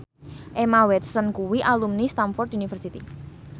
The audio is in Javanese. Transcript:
Emma Watson kuwi alumni Stamford University